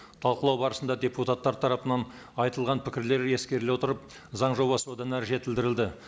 талқылау барысында депутаттар тарапынан айтылған пікірлер ескеріле отырып заң жобасы одан әрі жетілдірілді